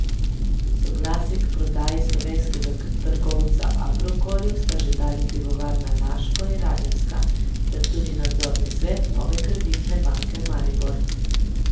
Soglasje k prodaji slovenskega trgovca Agrokorju sta že dali Pivovarna Laško in Radenska ter tudi nadzorni svet Nove Kreditne banke Maribor.